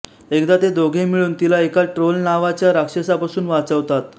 एकदा ते दोघे मिळून तिला एका ट्रोल नावाच्या राक्षसापासून वाचवतात